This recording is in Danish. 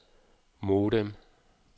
modem